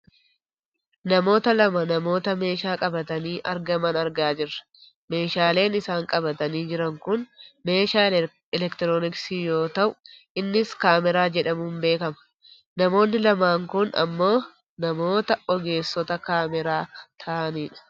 Namoota lama namoota meeshaa qabatanii argaman argaa jirra. Meeshaaleen isaan qabatanii jiran kun meeshaa elektirooniksi yoo ta'u innis kaameraa jedhamuun beekkama. Namoonni lamaan kun ammoo namoota namoota ogeessota kaameraa ta'anidha.